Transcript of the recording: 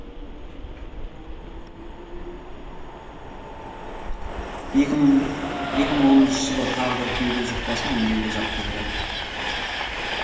екі мың оныншы жылы тағы бір кеуде жұқпасын емдеуге жатқызылды